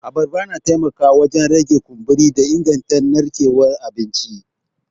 Abarba na taimakawa wajen rage kumburi da inganta narkewar abinci.